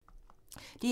DR1